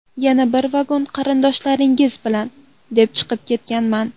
Yana bir vagon qarindoshlaringiz bilan!” deb chiqib ketganman.